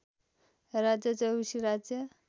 राज्य चौबिसी राज्य